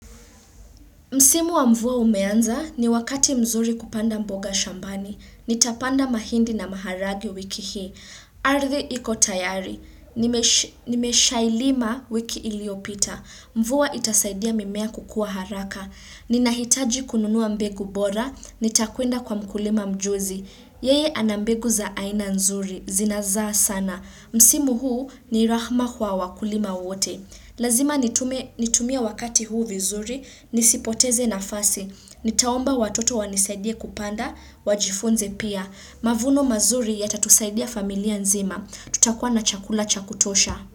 Msimu wa mvua umeanza, ni wakati mzuri kupanda mboga shambani. Nitapanda mahindi na maharagwe wiki hii. Ardhi iko tayari. Nimeshailima wiki iliyopita. Mvua itasaidia mimea kukua haraka. Ninahitaji kununua mbegu bora, nitakuenda kwa mkulima mjuzi. Yeye ana mbegu za aina nzuri, zinazaa sana. Msimu huu ni rahma kwa wakulima wote. Lazima nitume, nitumie wakati huu vizuri, nisipoteze nafasi. Nitaomba watoto wanisaidie kupanda wajifunze pia. Mavuno mazuri yatatusaidia familia nzima. Tutakua na chakula cha kutosha.